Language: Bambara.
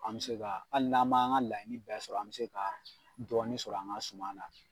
An bɛ se ka hali n'an m'an ka laɲini bɛɛ sɔrɔ, an bɛ se ka dɔɔni sɔrɔ an ka suma na.